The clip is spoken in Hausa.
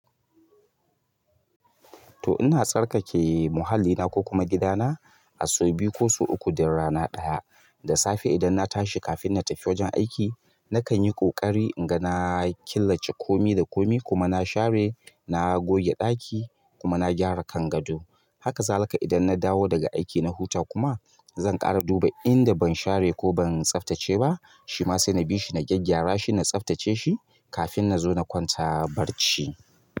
To ina tsarkake muhallina ko kuma gidana, a sau biyu ko sau uku, duk rana ɗaya. Da safe idan na tashi kafin na tafi wajen aiki nakan yi ƙoƙari inga na killace komi da komi kuma na share, na goge ɗaki kuma na gyara kangaɗo. Haka zalika idan na dawo daga aiki na huta kuma zan ƙara duba inda ban share ko ban tsaftace ba, shi ma sai na bi shi na gyaggyara shi na tsaftace shi kafin na zo na kwanta barci.